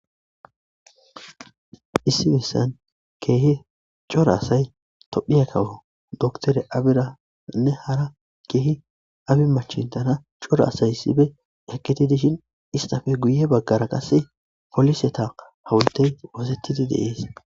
Issi haysan kehi cora asay tophiya kawo dokitere abiranne hara abi manchintara cora asay issipe eqi dishin istappe guye bagara qase poliseta awultey oosetidi de'es